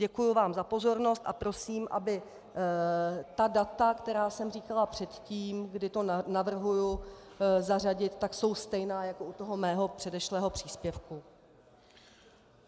Děkuji vám za pozornost a prosím, aby ta data, která jsem říkala předtím, kdy to navrhuji zařadit, tak jsou stejná jako u toho mého předešlého příspěvku.